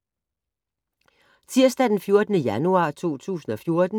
Tirsdag d. 14. januar 2014